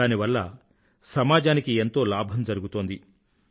దానివల్ల సమాజానికి ఎంతో లాభం జరుగుతోంది